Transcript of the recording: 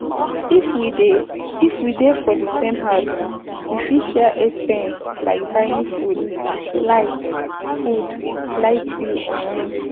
If we dey if we dey for di same house we fit share expense like buying food, light, food, light bill and rent